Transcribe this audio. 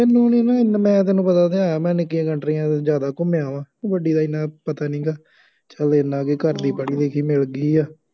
ਤੂੰ ਨਹੀਂ ਨਾ ਮੈਂ ਤੈਨੂੰ ਪਤਾ ਹੈ ਮੈਂ ਨਿੱਕੀਆਂ ਕੰਟਰੀਆਂ ਵਿੱਚ ਜ਼ਿਆਦਾ ਘੁੰਮਿਆ ਵਾ, ਵੱਡੀ ਦਾ ਐਨਾ ਪਤਾ ਨਹੀਂ ਹੈਗਾ, ਚੱਲੋ ਐਨਾ ਬਈ ਘਰ ਦੀ ਪੜ੍ਹੀ ਲਿਖੀ ਮਿਲ ਗਈ।